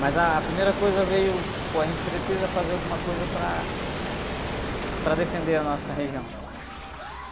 Mas a primeira coisa veio, pô, a gente precisa fazer alguma coisa para... Para defender a nossa região.